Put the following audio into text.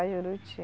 Juruti.